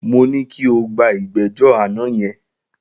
Mo ní kí o gba ìgbẹ́jọ́ àná yẹn.